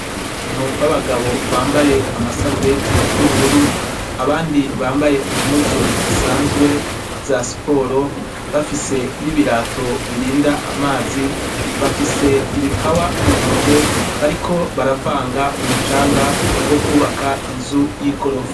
Abantu babagabo bambaye amasarubeti yubururu abandi bambaye impuzu zisazwe za sport bafise nibirato birinda amazi bafise ibipawa muntoke bariko baravanga umucanga wokubaka inzu yigorofa